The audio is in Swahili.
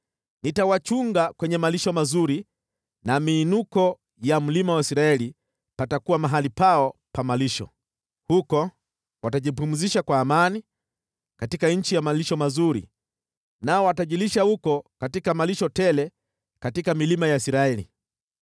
Nitawachunga kwenye malisho mazuri na miinuko ya mlima wa Israeli patakuwa mahali pao pa malisho. Huko watajipumzisha kwa amani katika nchi ya malisho mazuri, nao watajilisha huko katika malisho tele katika milima ya Israeli.